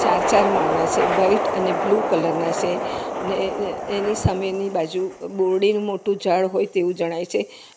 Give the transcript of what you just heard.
ચાર-ચાર માળના છે વાઈટ અને બ્લુ કલરના સે ને એની સામેની બાજુ બોરડીનું મોટું ઝાડ હોય તેવું જણાય છે.